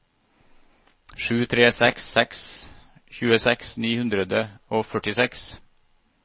sju tre seks seks tjueseks ni hundre og førtiseks